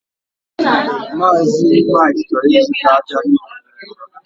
Mazị Mike chọrọ ịzụta ájá niile no ebe a